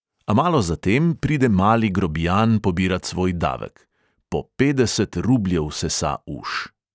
A malo zatem pride mali grobijan pobirat svoj davek; po petdeset rubljev sesa uš.